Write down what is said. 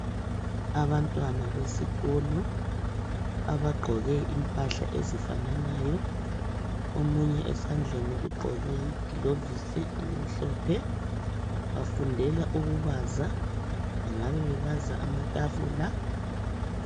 Abantwana besikolo abagqoke impahla ezifananayo, omunye esandleni ugqoke igilovisi elimhlophe, bafundela ukubaza, ngabe babaza amatafula.